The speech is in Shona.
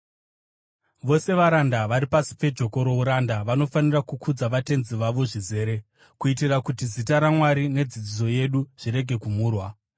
Vose varanda vari pasi pejoko rouranda vanofanira kukudza vatenzi vavo zvizere, kuitira kuti zita raMwari nedzidziso yedu zvirege kumhurwa.